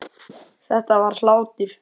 Þetta var hlátur.